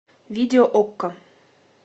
видео окко